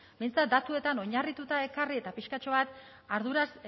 behintzat datuetan oinarrituta ekarri eta pixkatxo bat arduraz